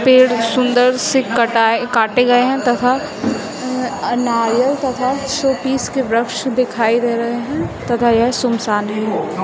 पेड़ सुंदर से कटाए काटे गए हैं तथा नारियल तथा शोपीस के वृक्ष दिखाई दे रहे हैं तथा यह सुनसान है।